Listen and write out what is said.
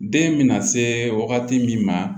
Den bɛna se wagati min ma